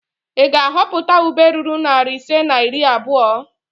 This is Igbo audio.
Ị ga-ahọpụta ube ruru narị ise na iri abụo?